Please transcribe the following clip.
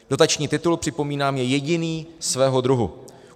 Dotační titul, připomínám, je jediný svého druhu.